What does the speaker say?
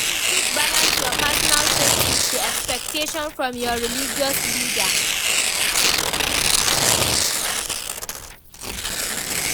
How you fit balance your personal faith with di expectations from your religious leaders?